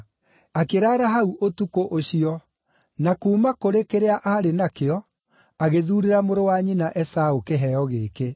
Akĩraara hau ũtukũ ũcio, na kuuma kũrĩ kĩrĩa aarĩ nakĩo, agĩthuurĩra mũrũ wa nyina Esaũ kĩheo gĩkĩ;